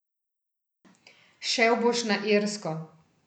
Šel boš na Irsko.